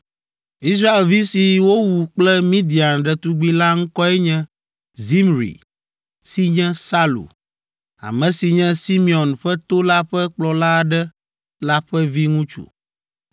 Israelvi si wowu kple Midian ɖetugbi la ŋkɔe nye Zimri si nye Salu, ame si nye Simeon ƒe to la ƒe kplɔla aɖe la ƒe viŋutsu.